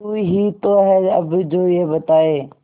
तू ही तो है अब जो ये बताए